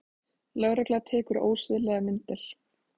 Lögregla tekur ósiðlegar myndir